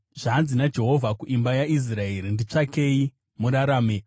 Zvanzi naJehovha kuimba yaIsraeri: “Nditsvakei murarame;